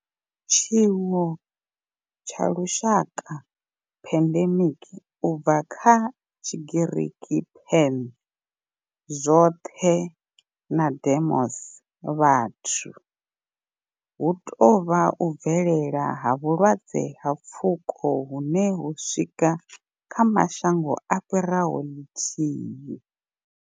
Tshiwo tsha lushaka pandemic, u bva kha Tshigiriki pan, zwothe na demos, vhathu hu tou vha u bvelela ha vhulwadze ha pfuko hune ho swika kha mashango a fhiraho ḽithihi.